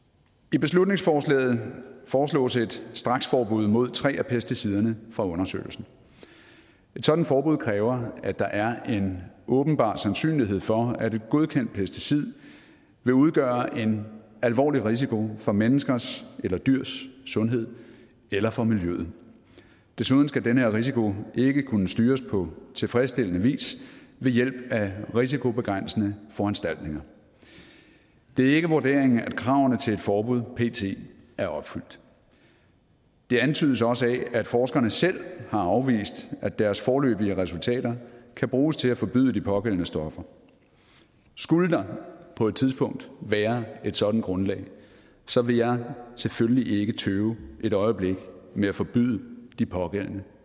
i beslutningsforslaget foreslås et straksforbud mod tre af pesticiderne fra undersøgelsen et sådant forbud kræver at der er en åbenbar sandsynlighed for at et godkendt pesticid vil udgøre en alvorlig risiko for menneskers eller dyrs sundhed eller for miljøet desuden skal denne risiko ikke kunne styres på tilfredsstillende vis ved hjælp af risikobegrænsende foranstaltninger det er ikke vurderingen at kravene til et forbud pt er opfyldt det antydes også af at forskerne selv har afvist at deres foreløbige resultater kan bruges til at forbyde de pågældende stoffer skulle der på et tidspunkt være et sådant grundlag så vil jeg selvfølgelig ikke tøve et øjeblik med at forbyde de pågældende